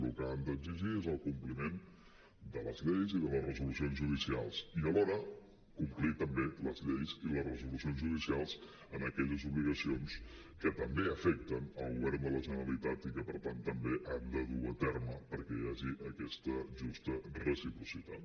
el que han d’exigir és el compliment de les lleis i de les resolucions judicials i alhora complir també les lleis i les resolucions judicials en aquelles obligacions que també afecten el govern de la generalitat i que per tant també han de dur a terme perquè hi hagi aquesta justa reciprocitat